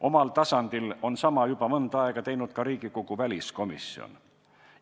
Omal tasandil on sama juba mõnda aega teinud ka Riigikogu väliskomisjon.